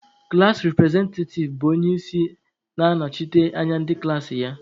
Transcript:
Klaasị representative bụ onye isi na na-anọchite anya ndị klaasị ya